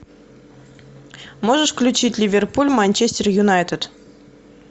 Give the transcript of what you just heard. можешь включить ливерпуль манчестер юнайтед